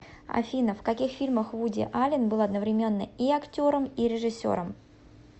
афина в каких фильмах вуди аллен был одновременно и актером и режиссером